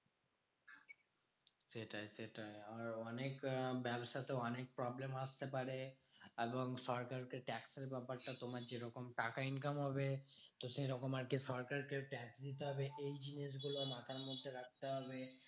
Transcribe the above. সেটাই সেটাই। আর অনেক আহ ব্যবসাতে অনেক problem আসতে পারে এবং সরকারকে tax এর ব্যাপারটা তোমার যেরকম টাকা income হবে। তো সেরকম আরকি সরকারকে tax দিতে হবে। এই জিনিসগুলো মাথার মধ্যে রাখতে হবে।